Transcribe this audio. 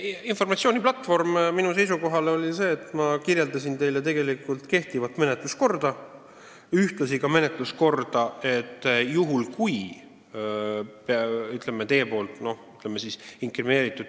Ma tuginesin oma seisukohta selgitades sellele, et ma kirjeldasin teile kehtivat menetluskorda, sh ka seda menetluskorda, mida kasutataks juhul, kui teie inkrimineeritud tehiolud on tekkinud.